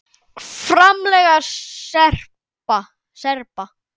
FRAMLAG SERBA